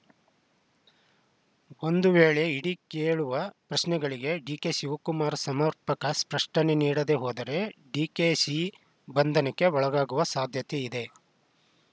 ಒಂದು ವೇಳೆ ಇಡಿ ಕೇಳುವ ಪ್ರಶ್ನೆಗಳಿಗೆ ಡಿಕೆಶಿವಕುಮಾರ್‌ ಸಮರ್ಪಕ ಸ್ಪಷ್ಟನೆ ನೀಡದೇ ಹೋದರೆ ಡಿಕೆಶಿ ಬಂಧನಕ್ಕೆ ಒಳಗಾಗುವ ಸಾಧ್ಯತೆಯೂ ಇದೆ